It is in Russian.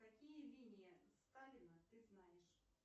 какие линии сталина ты знаешь